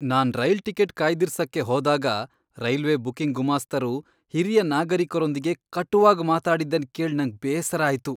ನಾನ್ rail ticket ಕಾಯ್ದಿರ್ಸಕ್ಕೆ ಹೋದಾಗ railway booking ಗುಮಾಸ್ತರು ಹಿರಿಯ ನಾಗರಿಕರೊಂದಿಗೆ ಕಟುವಾಗ್ ಮಾತಾಡಿದ್ದನ್ ಕೇಳ್ ನಂಗ್ ಬೇಸರ ಆಯ್ತು.